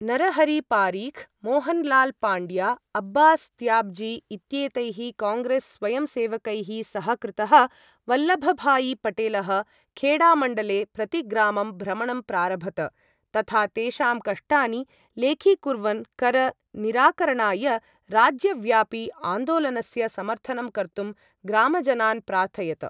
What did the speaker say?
नरहरी पारिख्, मोहनलाल् पाण्ड्या, अब्बास् त्याब्जी इत्येतैः काङ्ग्रेस् स्वयंसेवकैः सहकृतः वल्लभभायी पटेलः, खेडा मण्डले प्रतिग्रामं भ्रमणं प्रारभत, तथा तेषां कष्टानि लेखीकुर्वन् कर निराकरणाय राज्यव्यापि आन्दोलनस्य समर्थनं कर्तुं ग्रामजनान् प्रार्थयत।